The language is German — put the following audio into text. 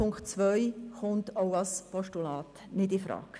Punkt 2 kommt auch als Postulat nicht infrage.